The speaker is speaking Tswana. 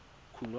khunwana